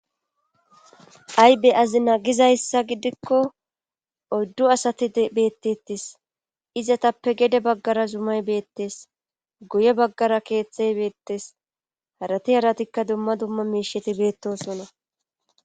Aybe azina gizayssa gidikko oddu asati beettettis izatappe gede baggara zumay beettes guye baggara keetxhey beettes harati aratikka dumma dumma miisheti beettosonna.